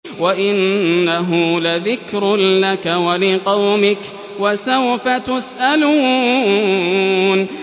وَإِنَّهُ لَذِكْرٌ لَّكَ وَلِقَوْمِكَ ۖ وَسَوْفَ تُسْأَلُونَ